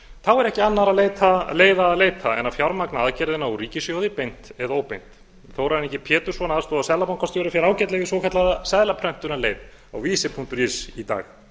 þá er ekki annarra leiða að leita en að fjármagna aðgerðina úr ríkissjóði beint eða óbeint þórarinn g pétursson aðstoðarseðlabankastjóri fer ágætlega í svokallaða seðlaprentunarleið á vísi punktur is í dag